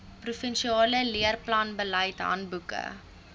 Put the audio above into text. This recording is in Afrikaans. provinsiale leerplanbeleid handboeke